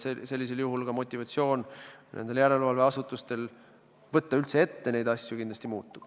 Siis ka järelevalveasutuste motivatsioon üldse neid asju ette võtta kindlasti muutub.